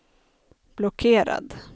blockerad